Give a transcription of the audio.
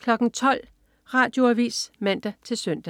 12.00 Radioavis (man-søn)